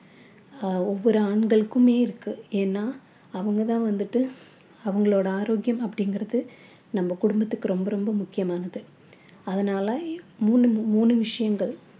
ஆஹ் ஒவ்வொரு ஆண்களுக்குமே இருக்கு ஏன்னா அவங்க தான் வந்துட்டு அவங்களோட ஆரோக்கியம் அப்படிங்கிறது நம்ம குடும்பத்துக்கு ரொம்ப ரொம்ப முக்கியமானது அதனால மூணு மூணு விஷயங்கள்